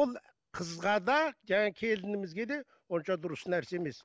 ол қызға да жаңағы келінімізге де онша дұрыс нәрсе емес